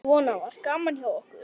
Svona var gaman hjá okkur.